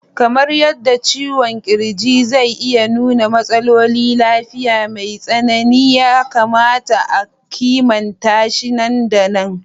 Kamar yadda ciwon ƙirji zai iya nuna matsalolin lafiya mai tsanani, ya kamata a kimanta shi nan da nan.